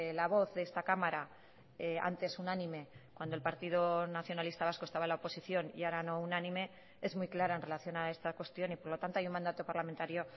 la voz de esta cámara antes unánime cuando el partido nacionalista vasco estaba en la oposición y ahora no unánime es muy clara en relación a esta cuestión y por lo tanto hay un mandato parlamentario